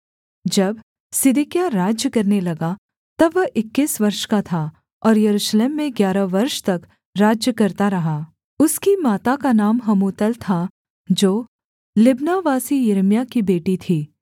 जब सिदकिय्याह राज्य करने लगा तब वह इक्कीस वर्ष का था और यरूशलेम में ग्यारह वर्ष तक राज्य करता रहा उसकी माता का नाम हमूतल था जो लिब्नावासी यिर्मयाह की बेटी थी